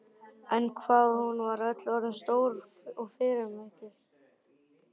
En hvað hún var öll orðin stór og fyrirferðarmikil.